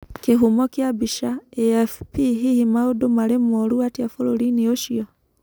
Kĩhumo kĩa mbica, AFP Hihi maũndũ marĩ moru atĩa bũrũri-inĩ ũcio?